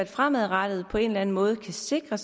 fremadrettet på en eller anden måde kan sikre